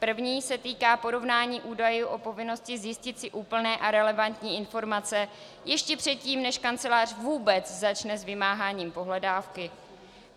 První se týká porovnání údajů o povinnosti zjistit si úplné a relevantní informace ještě předtím, než kancelář vůbec začne s vymáháním pohledávky.